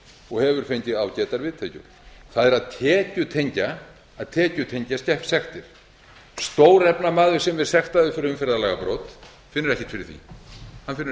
og hefur fengið ágætar viðtökur það er að tekjutengja sektir stórefnamaður sem er sektaður fyrir umferðarlagabrot finnur ekkert fyrir því lágtekjumaðurinn finnur fyrir sektinni þess vegna tekjutengjum við umferðar